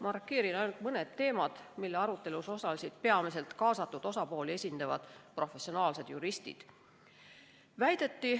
Markeerin ainult mõned teemad, mille arutelus osalesid peamiselt kaasatud osapooli esindavad professionaalsed juristid.